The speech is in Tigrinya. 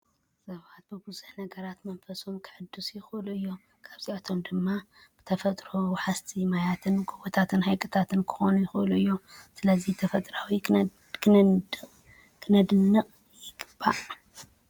ሰባት ብብዙሕ ነገራት መንፈሶም ክሕድሱ ይክእሉ እዮም። ካብኣቶም ድማ ብተፈጥራዊ ወሓዝት ማያትን ጎቦታትን ሃይቅታትን ክኾኑ ይኽእሉ እዮም። ስለዚ ተፈጥሮ ክነድንቅ ይግባእ።